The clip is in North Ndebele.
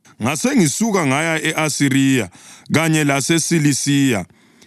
Ngasengisuka ngaya e-Asiriya kanye laseSilisiya.